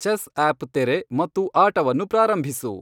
chess app ತೆರೆ ಮತ್ತು ಆಟವನ್ನು ಪ್ರಾರಂಭಿಸು